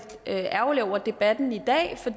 ærgerlig over debatten i dag for